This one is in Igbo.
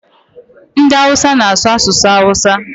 Ndị awụsa na-asụ asụsụ awụsa.